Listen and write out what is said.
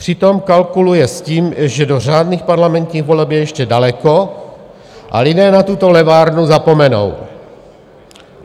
Přitom kalkuluje s tím, že do řádných parlamentních voleb je ještě daleko a lidé na tuto levárnu zapomenou.